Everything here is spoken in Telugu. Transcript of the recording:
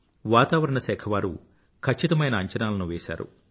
వాతావరణ శాఖ వారు ఖచ్చితమైన అంచనాలను వేసారు